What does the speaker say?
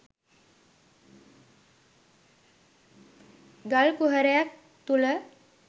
ගල් කුහරයක් තුළ